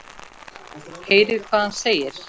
Heyrið hvað hann segir.